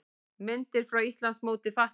Myndir frá Íslandsmóti fatlaðra